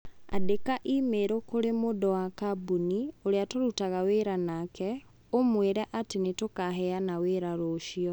Andĩka i-mīrū kũrĩ mũndũ wa kambũni ũrĩa tũrutaga wĩra nake ũmũĩ re atĩ nĩ tũkaheana wĩra rũciũ